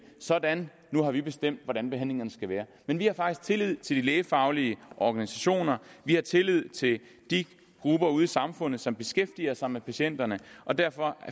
sådan nu har vi bestemt hvordan behandlingerne skal være men vi har faktisk tillid til de lægefaglige organisationer vi har tillid til de grupper ude i samfundet som beskæftiger sig med patienterne og derfor